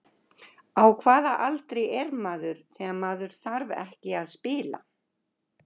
Á hvaða aldri er maður þegar maður þarf ekki að spila?